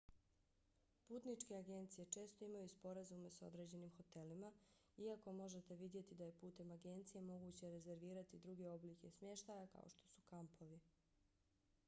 putničke agencije često imaju sporazume s određenim hotelima iako možete vidjeti da je putem agencije moguće rezervirati druge oblike smještaja kao što su kampovi